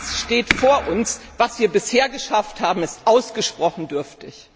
Das steht vor uns. Was wir bisher geschafft haben, ist ausgesprochen dürftig.